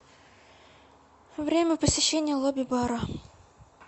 время посещения лобби бара